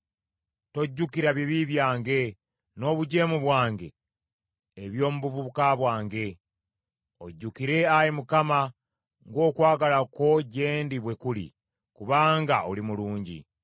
Tojjukira bibi byange n’obujeemu bwange eby’omu buvubuka bwange. Onzijukire, Ayi Mukama , ng’okwagala kwo gye ndi bwe kuli, kubanga oli mulungi.